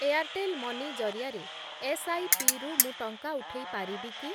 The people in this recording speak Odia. ଏୟାର୍‌ଟେଲ୍‌ ମନି ଜରିଆରେ ଏସ୍ଆଇପି ରୁ ମୁଁ ଟଙ୍କା ଉଠେଇ ପାରିବି କି?